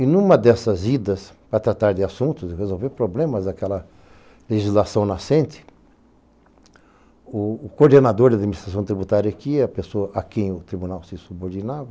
E numa dessas idas a tratar de assuntos, resolver problemas daquela legislação nascente, o coordenador da administração tributária aqui, a pessoa a quem o tribunal se subordinava,